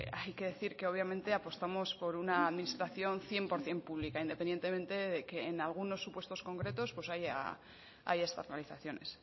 hay que decir que obviamente apostamos por una administración cien por ciento pública independientemente de que en algunos supuestos concretos pues haya externalizaciones